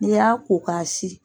N'i y'a ko ka sin.